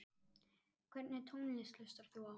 Hvernig tónlist hlustar þú á?